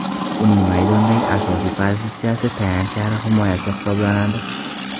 Uning maydondagi asosiy pozitsiyasi tayanch yarim himoyasi hisoblanadi.